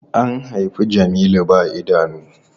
An haifi Jamilu ba idanu.